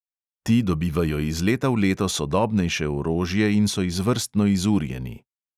Ti dobivajo iz leta v leto sodobnejše orožje in so izvrstno izurjeni.